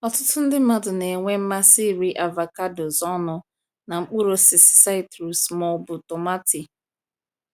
Ọtụtụ ndị mmadụ na-enwe mmasị iri avocados ọnụ na mkpụrụ osisi citrus ma ọ bụ tomati.